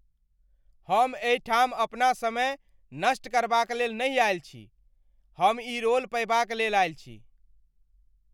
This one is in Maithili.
हम एहिठाम अपना समय नष्ट करबाक लेल नहि आयल छी! हम ई रोल पयबाक लेल आयल छी।